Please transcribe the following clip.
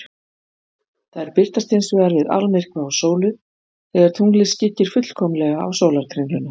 Þær birtast hins vegar við almyrkva á sólu, þegar tunglið skyggir fullkomlega á sólarkringluna.